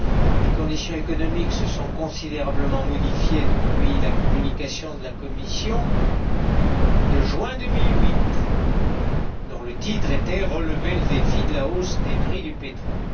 Les conditions économiques se sont considérablement modifiées depuis la communication de la Commission de juin 2008, dont le titre était Relever le défi de la hausse des prix du pétrole.